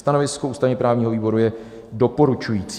Stanovisko ústavně-právního výboru je doporučující.